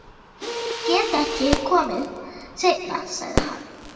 Nei, ég get ekki komið seinna, sagði hann.